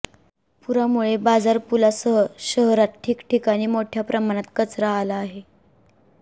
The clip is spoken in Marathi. पुरामुळे बाजारपुलासह शहरात ठिकठिकाणी मोठय़ा प्रमाणात कचरा आला आहे